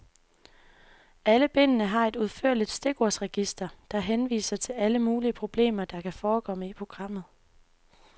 Alle bindene har et udførligt stikordsregister, der henviser til alle mulige problemer, der kan forekomme i programmet.